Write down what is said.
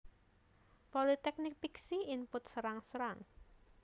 Politeknik Piksi Input Serang Serang